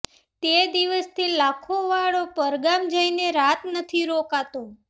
તે દિવસથી લાખો વાળો પરગામ જઈને રાત નથી રોકાતો